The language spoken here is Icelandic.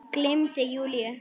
Gleymdi Júlíu.